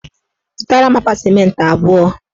Zụtara m akpa sịmentị abụọ.